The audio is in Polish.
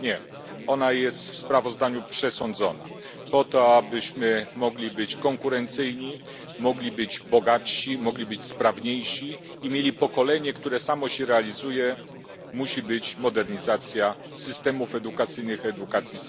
Nie, ona jest w sprawozdaniu przesądzona, po to abyśmy mogli być konkurencyjni, mogli być bogatsi, mogli być sprawniejsi i mieli pokolenie, które samo się realizuje musi być modernizacja systemów edukacyjnych, samej edukacji.